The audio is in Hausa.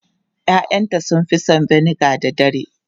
Ya'yanta sun fi son vinegar da dare.